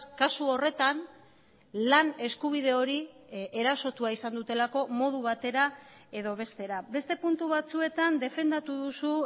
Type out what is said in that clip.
kasu horretan lan eskubide hori erasotua izan dutelako modu batera edo bestera beste puntu batzuetan defendatu duzu